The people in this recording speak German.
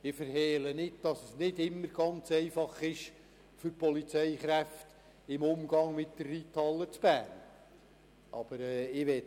Ich verhehle nicht, dass es für die Polizeikräfte im Umgang mit der Reithalle nicht immer ganz einfach ist.